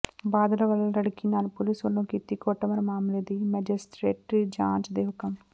ਬਾਦਲ ਵਲੋਂ ਲੜਕੀ ਨਾਲ ਪੁਲਿਸ ਵਲੋਂ ਕੀਤੀ ਕੁੱਟਮਾਰ ਮਾਮਲੇ ਦੀ ਮੈਜਿਸਟਰੇਟੀ ਜਾਂਚ ਦੇ ਹੁਕਮ